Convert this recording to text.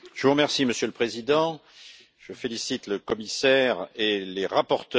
Monsieur le Président, je félicite le commissaire et les rapporteurs.